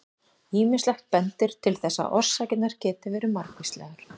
Ýmislegt bendir til þess að orsakirnar geti verið margvíslegar.